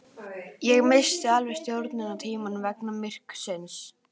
Ég missti alveg sjónar á tímanum vegna myrkursins